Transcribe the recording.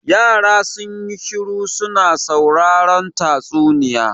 Yara sun yi shiru su na sauraren tatsuniya.